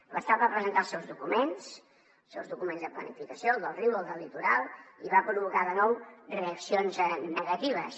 l’estat va presentar els seus documents els seus documents de planificació el del riu el del litoral i va provocar de nou reaccions negatives